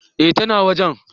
Eh ta na wajen